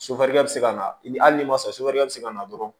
Sofɛrikɛ bɛ se ka na ni hali n'i ma sɔn bɛ se ka na dɔrɔn